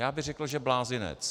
Já bych řekl, že blázinec.